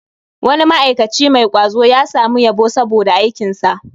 Wani ma'aikaci mai kwazo ya samu yabo saboda aikinsa